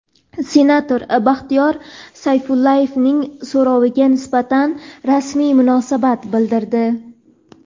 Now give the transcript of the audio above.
senator Baxtiyor Sayfullayevning so‘roviga nisbatan rasmiy munosabat bildirdi.